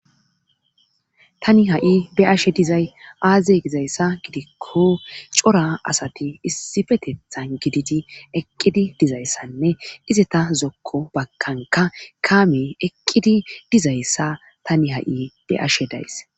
tani ha7i be'ashe dizay aaze gizayssa gidikko cora asati issifetethan gididi eqqidi dizayssanne ize ta zokko bakanka kaame eqqidi dizayssa tani ha7i be'ashe days